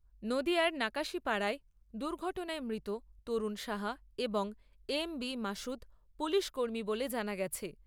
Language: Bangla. নদীয়ার নাকাশীপাড়ায় দুর্ঘটনায় মৃত তরুণ সাহা এবং এম বি মাসুদ পুলিশ কর্মী বলে জানা গেছে।